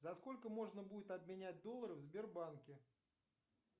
за сколько можно будет обменять доллары в сбербанке